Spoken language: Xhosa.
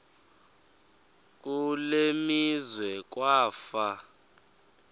kule meazwe kwafa